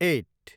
at